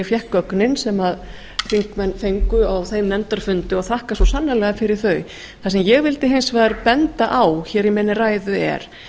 fékk gögnin sem þingmenn fengu á þeim nefndarfundi og þakka svo sannarlega fyrir þau það sem ég vildi hins vegar benda á hér í minni ræðu er